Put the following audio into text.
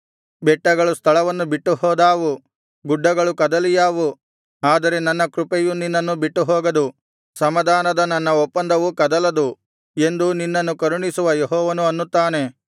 ಬೆಟ್ಟಗಳು ಸ್ಥಳವನ್ನು ಬಿಟ್ಟುಹೋದಾವು ಗುಡ್ಡಗಳು ಕದಲಿಯಾವು ಆದರೆ ನನ್ನ ಕೃಪೆಯು ನಿನ್ನನ್ನು ಬಿಟ್ಟುಹೋಗದು ಸಮಾಧಾನದ ನನ್ನ ಒಪ್ಪಂದವು ಕದಲದು ಎಂದು ನಿನ್ನನ್ನು ಕರುಣಿಸುವ ಯೆಹೋವನು ಅನ್ನುತ್ತಾನೆ